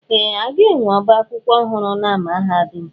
Ee! A ga-enwe ọbá akwụkwọ ọhụrụ na mahadum.